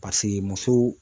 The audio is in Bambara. muso